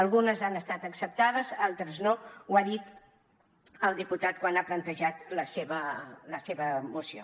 algunes han estat acceptades altres no ho ha dit el diputat quan ha plantejat la seva moció